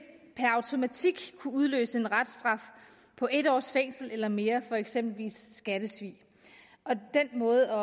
kunne udløse en reststraf på en års fængsel eller mere for eksempel ved skattesvig og den måde